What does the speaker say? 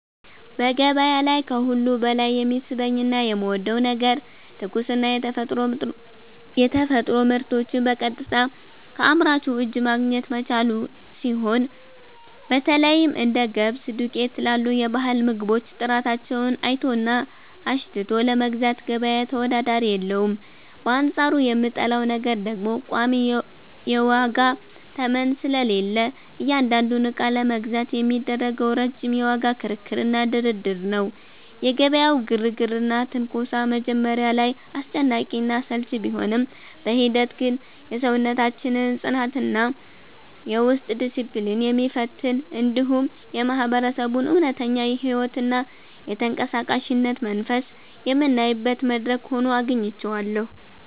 በገበያ ላይ ከሁሉ በላይ የሚስበኝና የምወደው ነገር ትኩስና የተፈጥሮ ምርቶችን በቀጥታ ከአምራቹ እጅ ማግኘት መቻሉ ሲሆን፣ በተለይም እንደ ገብስ ዱቄት ላሉ የባህል ምግቦች ጥራታቸውን አይቶና አሽትቶ ለመግዛት ገበያ ተወዳዳሪ የለውም፤ በአንጻሩ የምጠላው ነገር ደግሞ ቋሚ የዋጋ ተመን ስለሌለ እያንዳንዱን ዕቃ ለመግዛት የሚደረገው ረጅም የዋጋ ክርክርና ድርድር ነው። የገበያው ግርግርና ትንኮሳ መጀመሪያ ላይ አስጨናቂና አሰልቺ ቢሆንም፣ በሂደት ግን የሰውነታችንን ጽናትና የውስጥ ዲስፕሊን የሚፈትን፣ እንዲሁም የማህበረሰቡን እውነተኛ ሕይወትና የተንቀሳቃሽነት መንፈስ የምናይበት መድረክ ሆኖ አግኝቼዋለሁ።